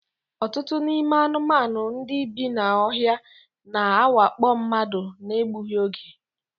Ọtụtụ n'ime anụmanụ ndị bi n'ohia na-awakpo mmadụ na-egbughi oge.